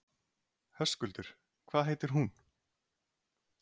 Höskuldur: Hvað heitir hún?